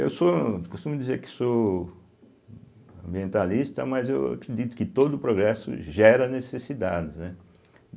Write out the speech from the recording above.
Eu sou costumo dizer que sou ambientalista, mas eu acredito que todo o progresso gera necessidades, né.